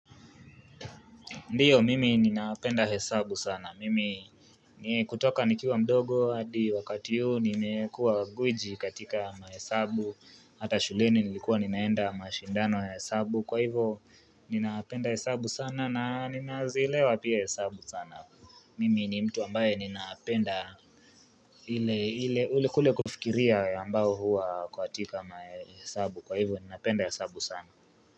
Ndiyo, mimi ninapenda hesabu sana. Mimi kutoka nikiwa mdogo hadi wakati huu nimekuwa gwiji katika mahesabu. Hata shuleni nilikuwa ninaenda mashindano ya hesabu. Kwa hivo ninapenda hesabu sana na ninazielewa pia hesabu sana. Mimi ni mtu ambaye ninapenda ile ule kule kufikiria ambayo huwa katika mahesabu. Kwa hivo, ninaapenda hesabu sana.